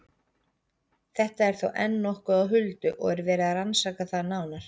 Þetta er þó enn nokkuð á huldu og er verið að rannsaka það nánar.